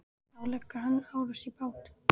Þá leggur hann árar í bát.